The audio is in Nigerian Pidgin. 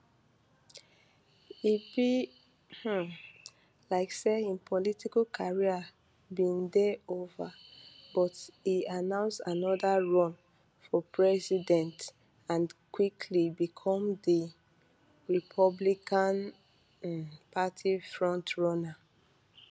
e be um like say im political career bin dey ova but e announce anoda run for president and quickly become di republican um party frontrunner